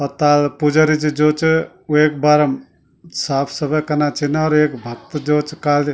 और ताल पुजरी जी जो च वेक बारम साफ सफै कना छिना और एक भक्त जो च काली --